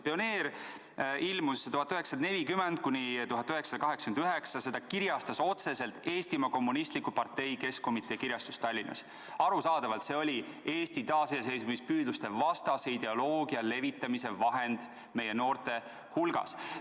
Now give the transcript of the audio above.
Pioneer ilmus aastatel 1940–1989, seda kirjastas otseselt Eestimaa Kommunistliku Partei Keskkomitee kirjastus Tallinnas – arusaadavalt oli see Eesti taasiseseisvumispüüdluste vastase ideoloogia levitamise vahend meie noorte hulgas.